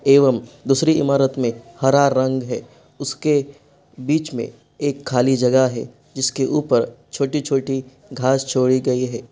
एवं दूसरी इमारत में हरा रंग है उसके बीच में एक खाली जगह है जिसके ऊपर छोटी-छोटी घास छोड़ी गई है।